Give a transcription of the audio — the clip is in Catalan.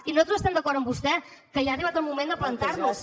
i nosaltres estem d’acord amb vostè que ja ha arribat el moment de plantar nos